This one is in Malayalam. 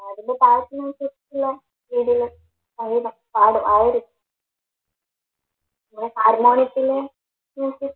ആ ഒരു പിന്നെ ഹാർമോണിയത്തില്